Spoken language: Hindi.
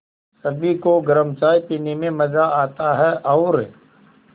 सभी को गरम चाय पीने में मज़ा आता है और